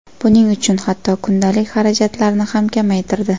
Buning uchun hatto kundalik xarajatlarni ham kamaytirdi.